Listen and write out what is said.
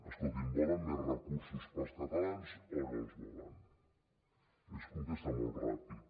escolti’m volen més recursos per als catalans o no els volen es contesta molt ràpid